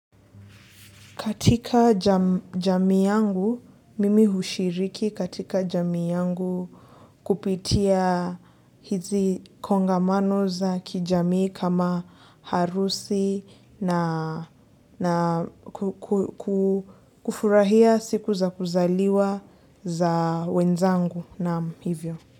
Katika jamii yangu, mimi hushiriki katika jamii yangu kupitia hizi kongamano za kijamii kama harusi na kufurahia siku za kuzaliwa za wenzangu nam hivyo.